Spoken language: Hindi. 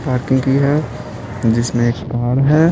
पार्किंग की है जिसमें एक कार है।